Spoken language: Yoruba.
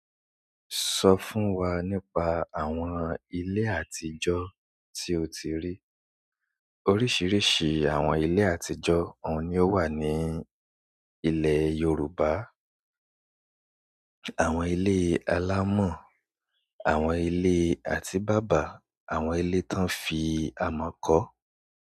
Sọ fún wa nípa àwọn ilé àtijọ́ tí o ti rí. Oríṣiríṣi àwọn ilé àtijọ́ oun ni ó wà ní ilẹ̀ Yorùbá. Àwọn ilé alámọ̀ àwọn ilé atibaba àwọn ilé tó ń fi amọ̀ kọ́.